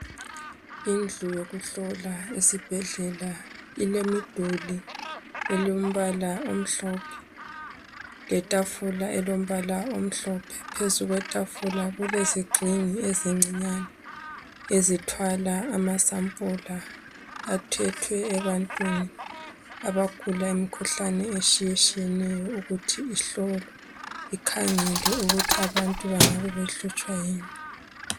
Indlu yokuhlola esibhedlela ilemiduli elembala omhlophe, letafula elombala omhlophe. Phezu kwetafula kulezigxingi ezincinyane ezithwala amasampula athethwe ebantwini abagula imikhuhlane eshiyeshiyeneyo ukuthi ihlolwe, ikhangelwe ukuthi abantu bangabe behlutshwa yini.